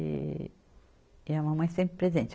E, e a mamãe sempre presente.